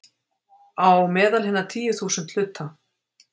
Á meðal hinna tíu þúsund hluta.